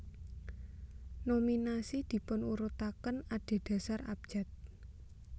Nominasi dipunurutaken adedasar abjad